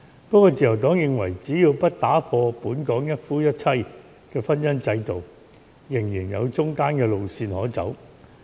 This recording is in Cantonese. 不過，自由黨認為，只要不打破本港一夫一妻的婚姻制度，仍然有中間的路線可走。